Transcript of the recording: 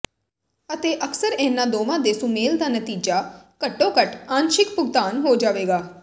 ਅਤੇ ਅਕਸਰ ਇਹਨਾਂ ਦੋਵਾਂ ਦੇ ਸੁਮੇਲ ਦਾ ਨਤੀਜਾ ਘੱਟੋ ਘੱਟ ਅੰਸ਼ਿਕ ਭੁਗਤਾਨ ਹੋ ਜਾਵੇਗਾ